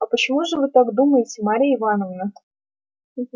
а почему же вы так думаете марья ивановна